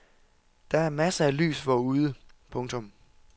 Der er masser af lys forude. punktum